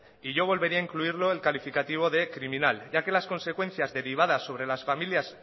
y yo volveré a incluirlo el calificativo de criminal ya que las consecuencias derivadas sobre las familias